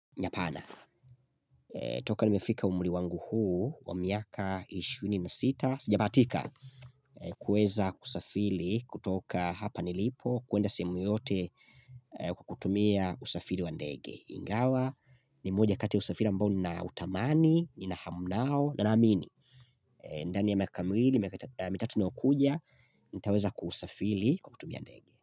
Ni hapana, toka nimefika umri wangu huu wa miaka 26, sijabahatika, kuweza kusafiri kutoka hapa nilipo, kwenda sehemu yoyote kwa kutumia usafiri wa ndege. Ingawa, ni moja kati ya usafiri ambao ni na utamani, ni na hamu nao, na na amini. Ndani ya miaka miwili, mitatu inayokuja, nitaweza kusafiri kwa kutumia ndege.